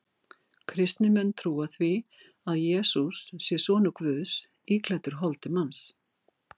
Kristnir menn trúa því að Jesús sé sonur Guðs íklæddur holdi manns.